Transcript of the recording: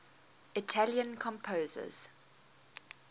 italian composers